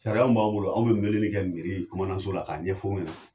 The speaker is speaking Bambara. Sariya min b'an bolo, an bɛ weleli kɛ miiri mana so la k'a ɲɛ fɔ la ɲɛna.